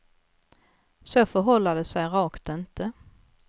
Så förhåller det sig rakt inte.